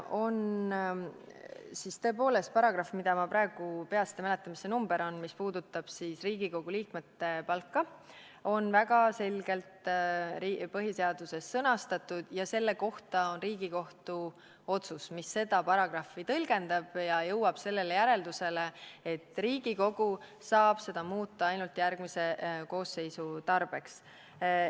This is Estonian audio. Esiteks, tõepoolest on paragrahv , mis puudutab Riigikogu liikmete palka, väga selgelt põhiseaduses sõnastatud ja on Riigikohtu otsus, mis seda paragrahvi tõlgendab ja jõuab järeldusele, et Riigikogu saab seda muuta ainult järgmise koosseisu tarbeks.